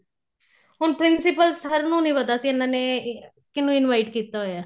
ਹੁਣ principal sir ਨੂੰ ਨਹੀਂ ਪਤਾ ਸੀ ਇੰਨਾ ਨੇ ਕਿੰਹਨੂ invite ਕੀਤਾ ਹੋਇਆ